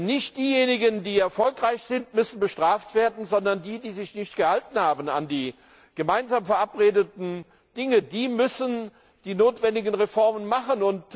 Nicht diejenigen, die erfolgreich sind, müssen bestraft werden, sondern die, die sich nicht an die gemeinsam verabredeten Dinge gehalten haben, müssen die notwendigen Reformen machen.